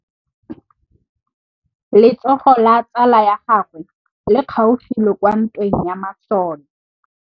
Letsôgô la tsala ya gagwe le kgaogile kwa ntweng ya masole.